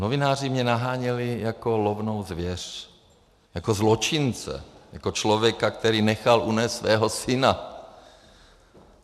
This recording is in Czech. Novináři mě naháněli jako lovnou zvěř, jako zločince, jako člověka, který nechal unést svého syna.